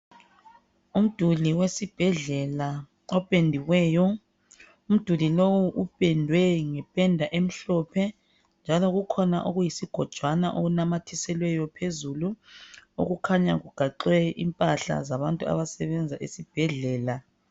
Umduli wesibhedlela opendiweyo. Umduli lowu upendwe ngependa emhlophe njalo kukhona okuyisigojwana okunamathiselweyo phezulu okukhanya kugaxwe impahla zabantu abasebenza esibhedlela.